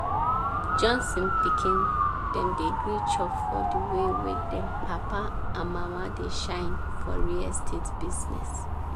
johnson pikin dem dey gree chop for di way wey dem papa and mama dey shine for real estate business.